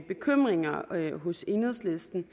bekymringer hos enhedslisten